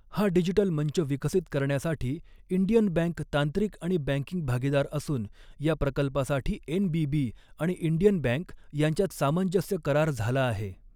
हा डिजिटल मंच विकसित करण्यासाठी इंडियन बँक तांत्रिक आणि बँकिंग भागीदार असून या प्रकल्पासाठी एनबीबी आणि इंडियन बँक यांच्यात सामंजस्य करार झाला आहे.